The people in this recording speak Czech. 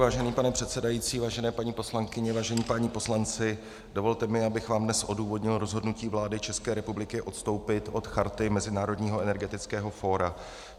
Vážený pane předsedající, vážené paní poslankyně, vážení páni poslanci, dovolte mi, aby vám dnes odůvodnil rozhodnutí vlády České republiky odstoupit od Charty Mezinárodního energetického fóra.